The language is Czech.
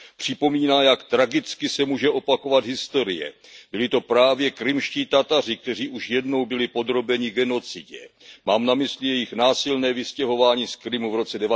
Připomíná, jak tragicky se může opakovat historie byli to právě krymští Tataři, kteří už jednou byli podrobeni genocidě. Mám na mysli jejich násilné vystěhování z Krymu v roce